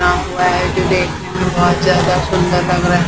गांव हुआ है जो देखने में बहुत ज्यादा सुंदर लग रहा--